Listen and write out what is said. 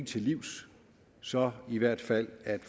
til livs så i hvert fald at